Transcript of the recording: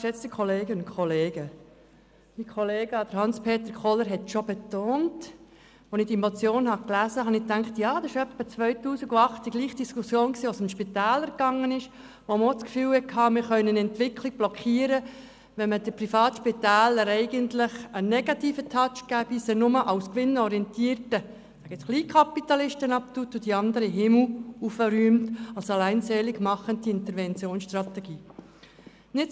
Als ich diese Motion gelesen habe, habe ich mir gedacht, wir führten nun dieselbe Diskussion wie 2008, als es um die Spitäler ging und man auch den Eindruck hatte, man könne eine Entwicklung blockieren, wenn man den Privatspitälern einen negativen Touch gebe und sie nur als gewinnorientierte Kleinkapitalisten betrachte, während man die anderen in den Himmel lobe und dies als alleinseligmachende Interventionsstrategie anschaue.